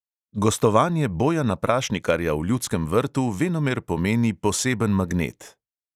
Gostovanje bojana prašnikarja v ljudskem vrtu venomer pomeni poseben magnet.